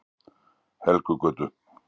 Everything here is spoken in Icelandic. Helgugötu